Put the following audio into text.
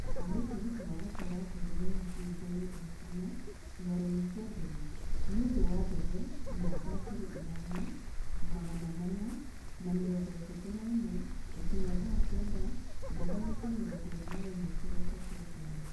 kũria tegithĨ ya gũtwara njeri maina kĩhingoinĩ gĩa kana kĩharoinĩ ya ndege nĩ ũndũ wa ndege namba aa ngiri ithano magana mana na mĩrongo ĩtatũ na ĩmwe gũkinya thaa kenda na dagika mirongo iri na imwe kiroko kia juma.